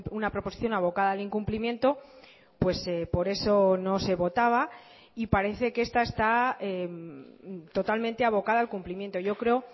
una proposición abocada al incumplimiento pues por eso no se votaba y parece que esta está totalmente abocada al cumplimiento yo creo